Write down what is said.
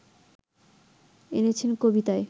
এনেছেন কবিতায়